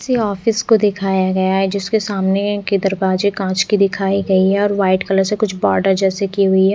किसी ऑफिस को दिखाया गया है जिसके सामने के दरवाजे कांच के दिखाई गयी है और व्हाइट कलर से कुछ बोर्डर जैसे की हुयी है।